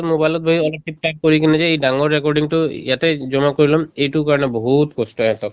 mobile কৰি কিনে যে এই ডাঙৰ recording তো ইয়াতে জমা কৰি লম এইটো কাৰণে বহুত কষ্ট ইহঁত